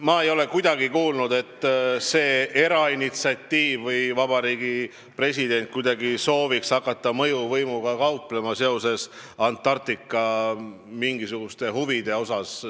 Ma ei ole kuulnud, et selle erainitsiatiivi puhul on kuidagi mängus presidendi soov hakata mõjuvõimuga kauplema, et selle Antarktika reisiga on seotud mingisugused sellised huvid.